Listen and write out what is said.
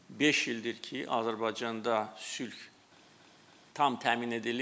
Beş ildir ki, Azərbaycanda sülh tam təmin edilib.